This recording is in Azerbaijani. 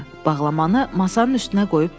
Bağlamanı masanın üstünə qoyub dedi: